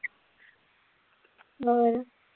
ਹੋਰ।